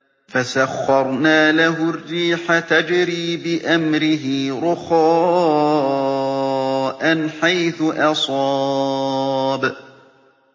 فَسَخَّرْنَا لَهُ الرِّيحَ تَجْرِي بِأَمْرِهِ رُخَاءً حَيْثُ أَصَابَ